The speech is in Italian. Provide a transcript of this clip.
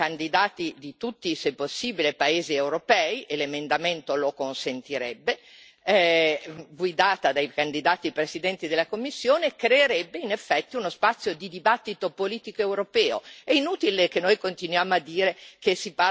L'avere una lista transnazionale con candidati se possibile di tutti i paesi europei e l'emendamento lo consentirebbe guidata dai candidati presidenti della Commissione, creerebbe in effetti uno spazio di dibattito politico europeo.